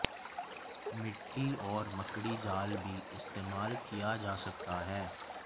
मिट्टी और मकड़ी जाल भी इस्तेमाल किया जा सकता है